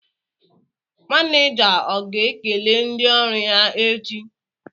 Maneja ọ ga-ekele ndị ọrụ ya echi?